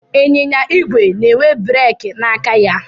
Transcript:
Ịnyịnya igwe na-enwe breeki n'aka ha.